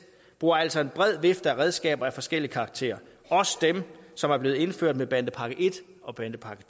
bruger altså en bred vifte af redskaber af forskellig karakter også dem som er blevet indført med bandepakke i og bandepakke